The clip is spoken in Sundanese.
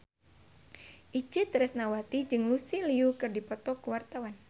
Itje Tresnawati jeung Lucy Liu keur dipoto ku wartawan